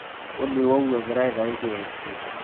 olly ouu egira aitayu kfc